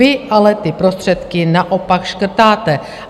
Vy ale ty prostředky naopak škrtáte.